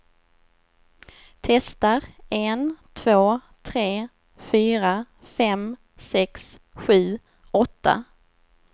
Testar en två tre fyra fem sex sju åtta.